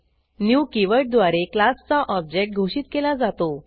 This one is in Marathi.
न्यू कीवर्डद्वारे क्लासचा ऑब्जेक्ट घोषित केला जातो